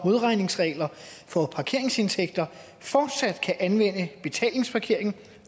modregningsregler for parkeringsindtægter fortsat kan anvende betalingsparkering